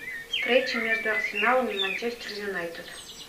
встреча между арсеналом и манчестер юнайтед